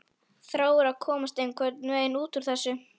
Þráir að komast einhvern veginn út úr þessu.